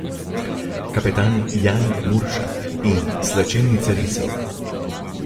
Kapetan Jan Muršak In slačilnica risov?